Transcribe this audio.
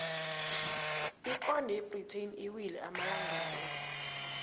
iponde yebritain iwile amalangana la